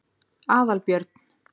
Aðalbjörn